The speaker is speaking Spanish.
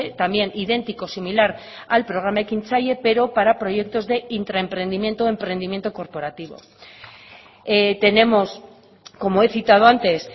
también idéntico similar al programa ekintzaile pero para proyectos de intraemprendimiento emprendimiento corporativo tenemos como he citado antes